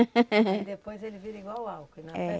E depois ele vira igual álcool, né? É